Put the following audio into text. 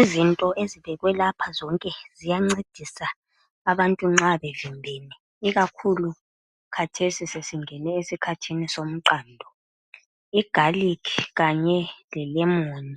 Izinto ezibekwe lapha zonke ziyancedisa nxa abantu bevimbene, ikakhulu khathesi sesingene esikhathini somqando. Igalikhi kanye lelemoni